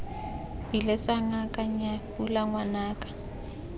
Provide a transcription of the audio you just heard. biletse ngaka nnyaa pula ngwanaka